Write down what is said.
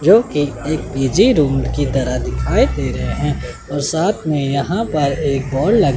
जोकि एक easy route की तरह दिखाई दे रहे है और साथ में यहां पर एक बॉल ल--